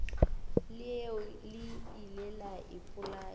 leo le ile la ipolaya